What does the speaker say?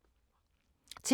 TV 2